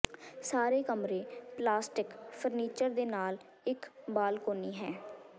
ਸਾਰੇ ਕਮਰੇ plastic furniture ਦੇ ਨਾਲ ਇੱਕ ਬਾਲਕੋਨੀ ਹੈ